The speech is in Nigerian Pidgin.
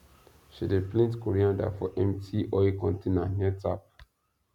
she dey plaint coriander for empty oil container near tap